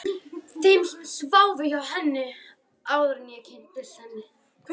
Þeim sem sváfu hjá henni, áður en ég kynntist henni.